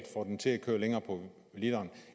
får den til at køre længere på literen